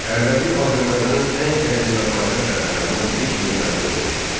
Ərdəbil Azərbaycanın ən qədim və paytaxt şəhərlərindən biri kimi məşhur olmuşdur.